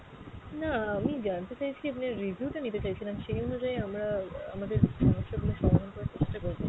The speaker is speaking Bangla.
না আমি জানতে চাইছি আপনার review টা নিতে চাইছিলাম, সেই অনুযায়ী আমরা আহ আমাদের সমস্যা গুলো সমাধান করার চেষ্টা করবো।